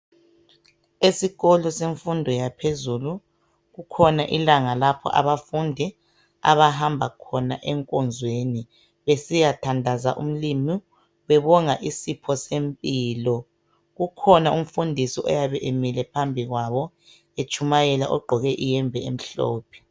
Esikolo semfundo yaphezulu kukhona ilanga lapho abafundi abahamba khona enkonzweni besiyathandaza uMlimu bebonga isipho sempilo kukhona umfundisi oyabe emile phambi kwabo etshumayela u gqoke iyembe emhlophe.